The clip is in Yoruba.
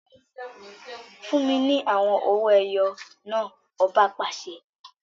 Fún mi ní awọn owó ẹyọ náà! ọba pàṣẹ